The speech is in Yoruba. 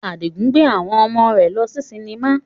Adigun gbe awon omo re lo si sinima